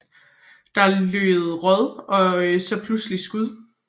Der lød råb og så pludselig skud